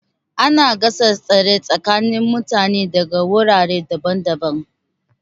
Ana gasar tsere tsakanin mutane daga wurare daban-daban.